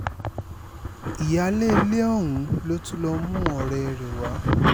ìyáálé ilé ọ̀hún ló tún lọ́ọ́ mú ọ̀rẹ́ rẹ wá